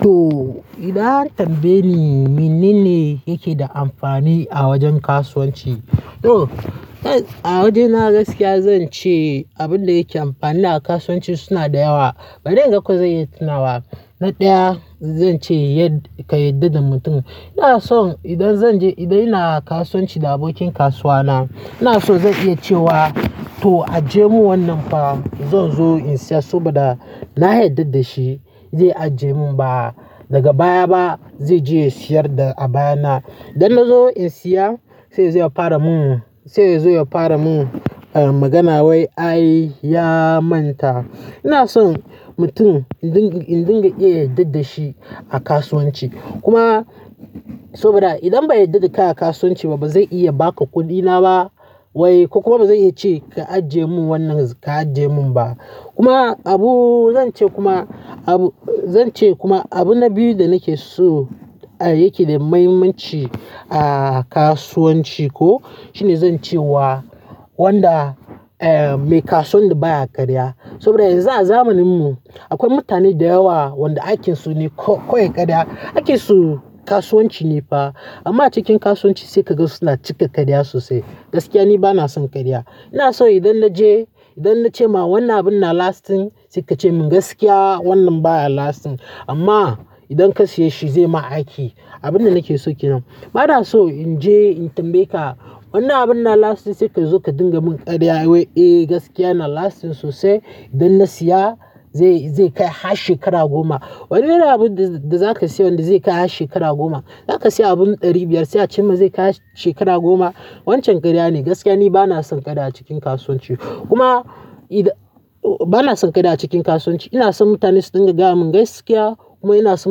Toh, idan an tambaye ni menene yake da amfani a wajen kasuwanci? Toh a waje na gaskiya zan ce abin da yake amfani a kasuwanci suna da yawa. Bari inga ko zan iya tunawa. Toh a waje na gaskiya zan ce abin da yake amfani a kasuwanci suna da yawa. Ina son idan zan je idan ina kasuwanci da abokin kasuwa na, ina so zan iya cewa toh ajiye mun wannan fa zan zo in siya saboda na yarda da shi zai ajiye mun ba. Daga baya ba zai je siyar da a baya na. Idan na zo in siya sai ya zo ya fara mun, sai ya zo ya fara mun magana wai ai ya manta. Ina son mutum in dinga, in dinga iya yarda da shi a kasuwanci. Kuma saboda idan ban yarda da kai a kasuwanci ba bazan iya ba ka kuɗi na ba wai ko kuma bazan iya ce ka ajiye mun wannan ka ajiye mun ba. Kuma abu zan ce kuma abu zan ce kuma abu na biyu da nake so yake da muhimmanci a kasuwanci ko shine zan ce wa wanda mai kasuwan da baya karya. Saboda yanzu a zamanin mu akwai mutane da yawa wanda aikin su ne kowai karya. Aikin su kasuwanci ne fa amma a cikin kasuwanci sai ka ga su suna cika karya sosai. Gaskiya ni bana son karya. Ina son idan na je idan na ce ma wannan abun na lasting sai ka ce mun gaskiya wannan baya lasting amma idan ka siya shi zai yi ma aiki. Abun da nake so kenan. Ba na so in je in tambaye ka wannan abun yana lasting sai ka zo ka dinga mun karya wai gaskiya na lasting sosai. Idan na siya zai kai shekara goma. Wani irin abun da za ka siya wanda zai kai har shekara goma? Za ka siya abun ɗari biyar sai ka ce mun zai kai har shekara goma. Waccen karya ne. Gaskiya ni bana son karya a cikin kasuwanci. Kuma bana son karya a cikin kasuwanci. Ina son mutane su dinga gaya mun gaskiya kuma ina so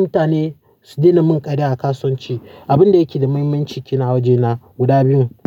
mutane su daina mun karya a kasuwanci. Abun da yake da muhimmanci kenan a wajena guda biyun.